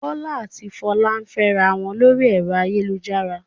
Bọ́lá a ti Folú ń fẹ́ra wọn lórí ẹ̀rọ ayélujára.